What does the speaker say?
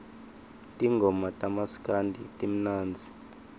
tingoma tamaskandi timnandzi